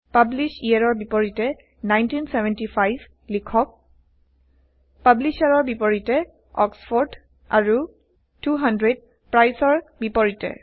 পাব্লিশ্ব ইয়েৰৰ বিপৰীতে 1975 লিখক পাব্লিশ্বাৰৰ বিপৰীতে অক্সফৰ্ড আৰু 200 প্ৰাইচৰ বিপৰীতে